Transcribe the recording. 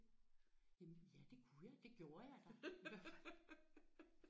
Jamen ja det kunne jeg. Det gjorde jeg da i hvert fald